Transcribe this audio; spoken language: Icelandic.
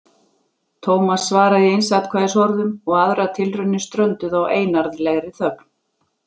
Thomas svaraði í einsatkvæðisorðum og aðrar tilraunir strönduðu á einarðlegri þögn.